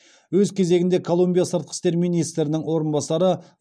өз кезегінде колумбия сыртқы істер министрінің орынбасары